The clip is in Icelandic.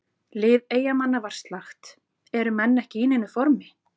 Lið Eyjamanna var slakt, eru menn ekki í neinu formi?